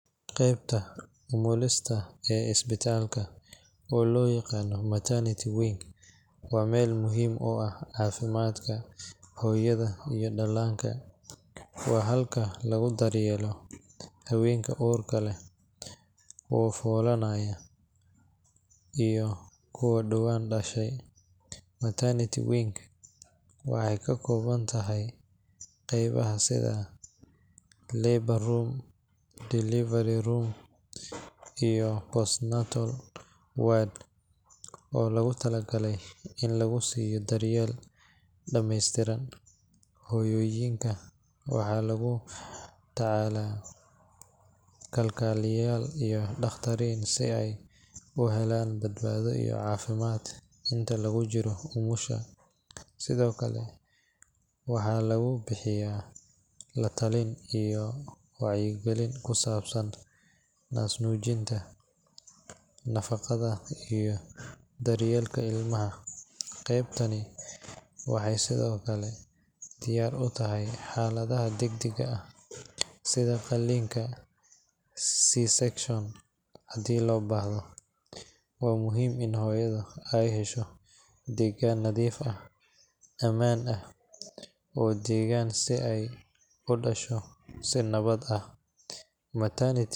Qaybta umulista ee isbitaalka, oo loo yaqaan maternity wing, waa meel muhiim u ah caafimaadka hooyada iyo dhallaanka. Waa halka lagu daryeelo haweenka uurka leh, kuwa foolanaya, iyo kuwa dhowaan dhashay. Maternity wing waxay ka kooban tahay qeybaha sida labor room, delivery room, iyo postnatal ward oo loogu talagalay in lagu siiyo daryeel dhammeystiran. Hooyooyinka waxaa lagula tacaalaa kalkaaliyeyaal iyo dhakhaatiir si ay u helaan badbaado iyo caafimaad inta lagu jiro umusha. Sidoo kale, waxaa lagu bixiyaa la-talin iyo wacyigelin ku saabsan naasnuujinta, nadaafadda, iyo daryeelka ilmaha. Qaybtani waxay sidoo kale diyaar u tahay xaaladaha degdegga ah sida qalliinka C-section haddii loo baahdo. Waa muhiim in hooyada ay hesho deegaan nadiif ah, ammaan ah, oo deggan si ay u dhasho si nabad ah. Maternity wing-ku.